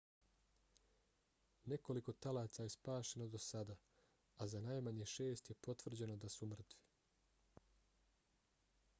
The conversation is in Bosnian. nekoliko talaca je spašeno do sada a za najmanje šest je potvrđeno da su mrtvi